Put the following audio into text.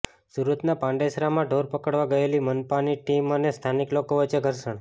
સુરતના પાંડેસરામાં ઢોર પકડવા ગયેલી મનપાની ટીમ અને સ્થાનિક લોકો વચ્ચે ઘર્ષણ